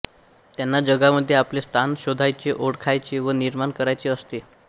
त्यांना जगामधे आपले स्थान शोधायचे ओळखायचे व निर्माण करायचे असते